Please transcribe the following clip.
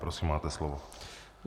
Prosím, máte slovo.